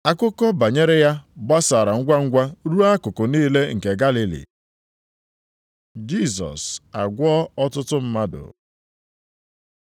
Akụkọ banyere ya gbasara ngwangwa ruo akụkụ niile nke Galili. Jisọs agwọọ ọtụtụ mmadụ